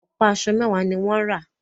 Ọ̀pá aṣọ mẹwàá ní wọ́n rà.